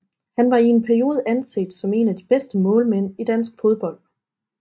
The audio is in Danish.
Han var i en periode anset som en af de bedste målmænd i dansk fodbold